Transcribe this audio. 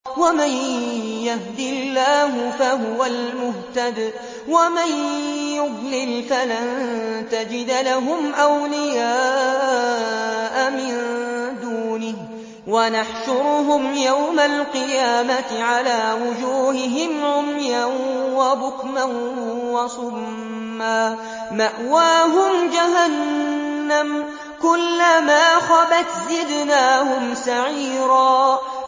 وَمَن يَهْدِ اللَّهُ فَهُوَ الْمُهْتَدِ ۖ وَمَن يُضْلِلْ فَلَن تَجِدَ لَهُمْ أَوْلِيَاءَ مِن دُونِهِ ۖ وَنَحْشُرُهُمْ يَوْمَ الْقِيَامَةِ عَلَىٰ وُجُوهِهِمْ عُمْيًا وَبُكْمًا وَصُمًّا ۖ مَّأْوَاهُمْ جَهَنَّمُ ۖ كُلَّمَا خَبَتْ زِدْنَاهُمْ سَعِيرًا